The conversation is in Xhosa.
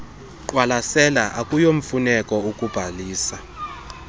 qwalasela akuyomfuneko ukubhalisa